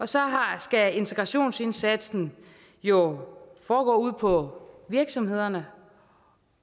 så skal integrationsindsatsen jo foregå ude på virksomhederne